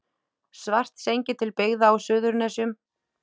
Svartsengi til byggða á Suðurnesjum.